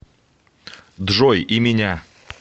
джой и меня